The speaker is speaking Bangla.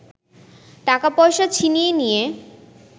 টাকা-পয়সা ছিনিয়ে নিয়ে